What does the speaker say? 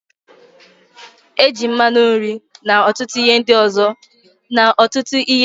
Eji mmanụ nri na ọtụtụ ihe nri ndị ọzọ esi agwa